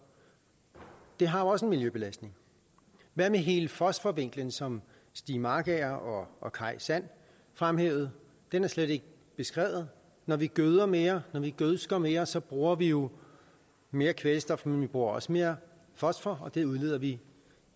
det har også en miljøbelastning hvad med hele fosforvinklen som stig markager og kaj sand fremhævede den er slet ikke beskrevet når vi gøder mere når vi gødsker mere så bruger vi jo mere kvælstof men vi bruger også mere fosfor og det udleder vi